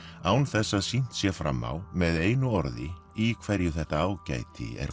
án þess að sýnt sé fram á með einu orði í hverju þetta ágæti er